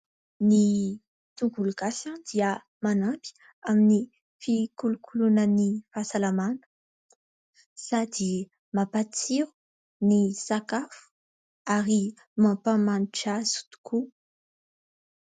Ny tongolo gasy dia manampy amin'ny fikolokoloana ny fahasalamana sady mampatsiro ny sakafo ary mampamanitra azy tokoa.